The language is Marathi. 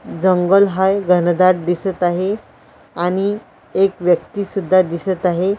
दंगल हा घनदाट दिसत आहे आणि एक व्यक्ती सुद्धा दिसत आहे.